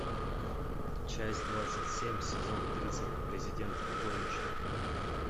часть двадцать семь сезон тридцать президент горничная